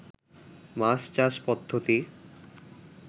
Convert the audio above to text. মাছ চাষ পদ্ধতি